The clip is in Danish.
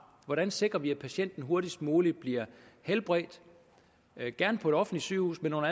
hvordan sikrer vi at patienten hurtigst muligt bliver helbredt gerne på et offentligt sygehus men under